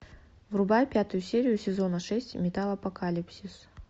врубай пятую серию сезона шесть металлопокалипсис